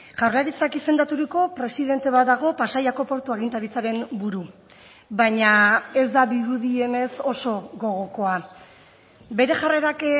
jaurlaritzak izendaturiko presidente bat dago pasaiako portua agintaritzaren buru baina ez da dirudienez oso gogokoa bere jarrerak